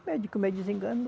O médico me desenganou.